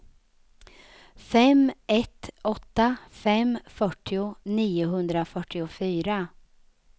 fem ett åtta fem fyrtio niohundrafyrtiofyra